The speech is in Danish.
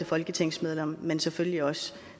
folketingsmedlemmer men selvfølgelig også